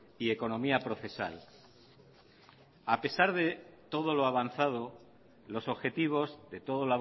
y economía procesal a pesar de todo lo avanzado los objetivos de todo